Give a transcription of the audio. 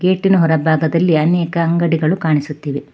ಗೇಟಿನ ಹೊರ ಭಾಗದಲ್ಲಿ ಅನೇಕ ಅಂಗಡಿಗಳು ಕಾಣಿಸುತ್ತಿವೆ.